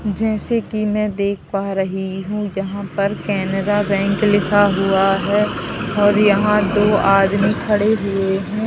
जैसे कि मैं देख पा रही हूं यहां पर केनरा बैंक लिखा हुआ है और यहां दो आदमी खड़े हुए हैं।